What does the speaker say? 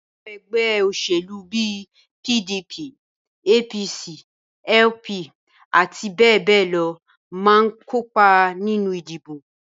Àwọn ẹgbẹ́ òṣèlú bíi PDP, APC, LP àti bẹ́ẹ̀ bẹ́ẹ̀ lọ máa ń kópa nínú ìdìbò